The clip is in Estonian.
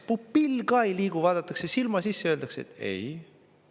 Pupill ka ei liigu, vaadatakse silma sisse ja öeldakse: "Ei.